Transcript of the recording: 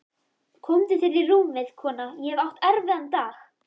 Komdu þér í rúmið, kona, ég hef átt erfiðan dag.